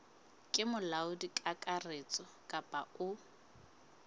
ke molaodi kakaretso kapa o